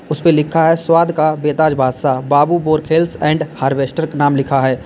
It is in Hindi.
उसे पे लिखा है स्वाद का बेताज बादशाह बाबू वोरखेल्स एंड हार्वेस्टर का नाम लिखा है।